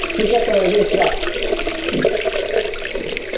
ঠিক আছে বেশ রাখ.